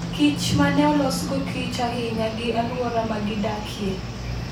kich ma ne olosgo kich ahinya gi alwora ma gidakie.